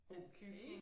Okay